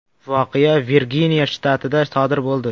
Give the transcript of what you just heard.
Voqea Virginiya shtatida sodir bo‘ldi.